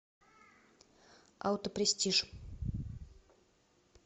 аутопрестиж